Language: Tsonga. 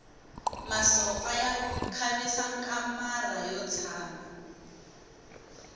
masopfa ya khavisa kamara ro tshama